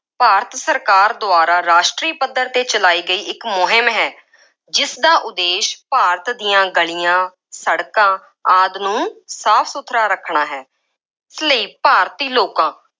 ਭਾਰਤ ਸਰਕਾਰ ਦੁਆਰਾ ਰਾਸ਼ਟਰੀ ਪੱਧਰ 'ਤੇ ਚਲਾਈ ਗਈ, ਇੱਕ ਮੁਹਿੰਮ ਹੈ। ਜਿਸਦਾ ਉਦੇਸ਼ ਭਾਰਤ ਦੀਆਂ ਗਲੀਆਂ, ਸੜਕਾਂ ਆਦਿ ਨੂੰ ਸਾਫ ਸੁਥਰਾ ਰੱਖਣਾ ਹੈ। ਇਸ ਲਈ ਭਾਰਤੀ ਲੋਕਾਂ